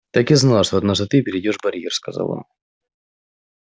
так и знал что однажды ты перейдёшь барьер сказал он